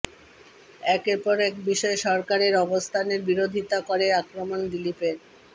একের পর এক বিষয়ে সরকারের অবস্থানের বিরোধিতা করে আক্রমণ দিলীপের